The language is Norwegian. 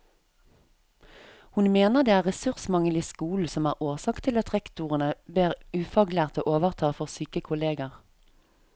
Hun mener det er ressursmangel i skolen som er årsak til at rektorene ber ufaglærte overta for syke kolleger.